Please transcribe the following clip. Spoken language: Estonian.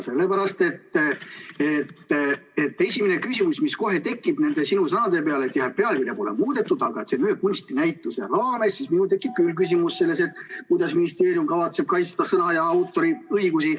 Sellepärast, et esimene küsimus, mis kohe tekib nende sinu sõnade peale, et pealkirja pole muudetud, et see on ühe kunstinäituse raames, siis minul tekib küll küsimus, et kuidas ministeerium kavatseb kaitsta sõna- ja autoriõigusi.